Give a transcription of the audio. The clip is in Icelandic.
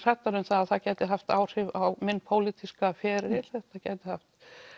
hræddar um að það gæti haft áhrif á minn pólitíska feril þetta gæti haft